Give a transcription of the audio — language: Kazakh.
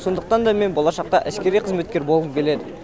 сондықтан да мен болашақта әскери қызметкер болғым келеді